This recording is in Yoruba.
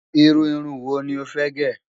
Iru irun wo ni ó fẹ́ gẹ̀?